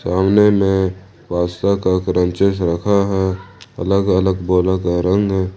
सामने में रखा है अलग अलग बोरों का रंग है ।